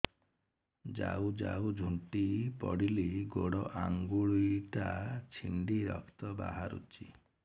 ଯାଉ ଯାଉ ଝୁଣ୍ଟି ପଡ଼ିଲି ଗୋଡ଼ ଆଂଗୁଳିଟା ଛିଣ୍ଡି ରକ୍ତ ବାହାରୁଚି